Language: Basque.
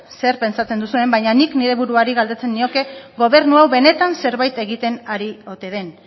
zer pentsatzen duzuen baina nik nire buruari galdetuko nioke gobernu hau benetan zerbait egiten ari ote den